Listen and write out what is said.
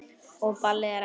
Og ballið er ekki byrjað.